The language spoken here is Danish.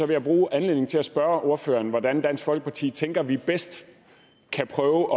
vil bruge anledningen til at spørge ordføreren hvordan dansk folkeparti tænker vi bedst kan prøve